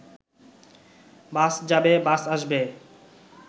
বাস যাবে, বাস আসবে